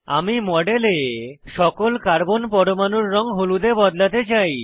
আমি মডেলে সকল কার্বন পরমাণুর রঙ হলুদে বদলাতে চাই